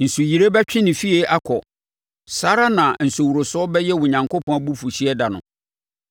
Nsuyire bɛtwe ne fie akɔ, saa ara na nsuworosoɔ bɛyɛ Onyankopɔn abufuhyeɛ da no.